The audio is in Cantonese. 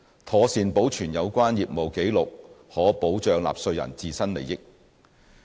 妥善保存有關業務紀錄可保障納稅人自身利益。